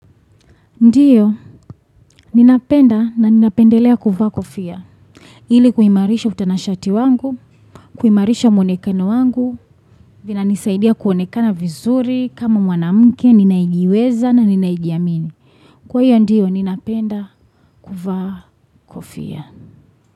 Ndiyo, ninapenda na ninapendelea kuvaa kofia. Ili kuimarisha utanashati wangu, kuimarisha mwonekano wangu, vinanisaidia kuonekana vizuri, kama mwanamke, ninaejiweza na ninaejiamini. Kwa hiyo ndiyo, ninapenda kuvaa kofia.